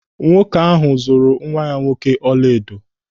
Nwoke ahụ zụrụ nwa ya nwoke ọla edo.